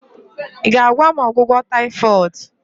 ị ga-agwa m ọgwụgwọ taifoid?